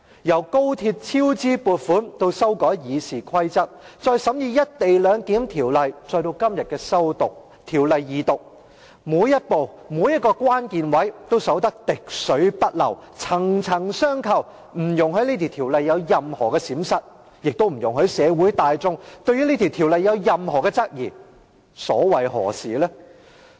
由高鐵超支撥款至修改《議事規則》，再由審議《條例草案》至今天的《條例草案》二讀程序，每一步、每一個關鍵位也守得滴水不漏，層層相扣，不容許《條例草案》有任何閃失，亦不容許社會大眾對《條例草案》有任何質疑，究竟所謂何事？